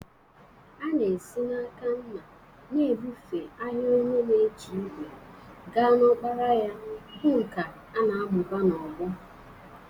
A na-esi n'aka nna na-ebufe ahịa onye na-eji ígwè gaa n'ọkpara ya, bụ́ nkà a na-amụba n'ọgbọ.